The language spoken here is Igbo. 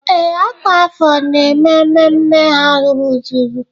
Ee, ọkwa afọ na-eme mmemme ha rụzuru.